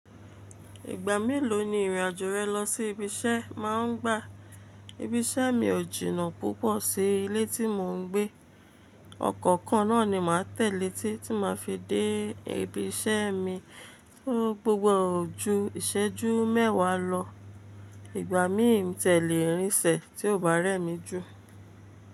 Ìgbà mélòó ni ìrìn àjò rẹ lọ sí ibi iṣẹ́ má ń gbà? Ibi iṣẹ́ mi ò jìnnà púpọ̀ sí ilé tí mò ń gbé. Ọkọ́ kan náà ni màá tẹ̀ lé títí tí màá fi dé ibi iṣẹ́ mi tó gbogbo ojú ìṣẹ́jú mẹ́wàá lọ. Ìgbà míì mi tẹ̀ lé rinṣẹ́ tí ò bá rẹ́ mi jù.